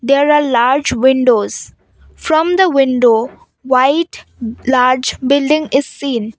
there are large windows from the window white blurred building is seen.